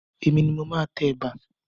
Èmi ni mo máa tẹ ẹ̀bà.